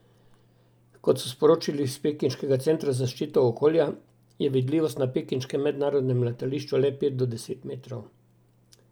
Kot so sporočili s pekinškega centra za zaščito okolja, je vidljivost na pekinškem mednarodnem letališču le pet do deset metrov.